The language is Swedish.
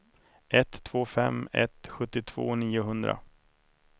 ett två fem ett sjuttiotvå niohundra